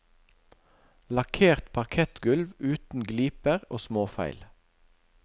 Lakkert parkettgulv uten gliper og småfeil.